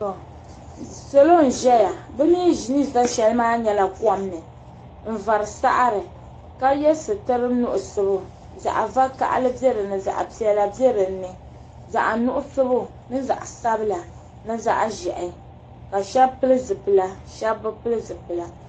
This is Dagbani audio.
Salo n ʒɛya bɛ mee ni za sheli mama nyɛla komni n vari saɣari ka ye sitiri nuɣuso zaɣa vakahali biɛ dinni zaɣa piɛla biɛ dinni zaɣa nuɣuso ni zaɣa'sabila ni zaɣaʒehi ka sheba pili zipila sheba bi pili zipila.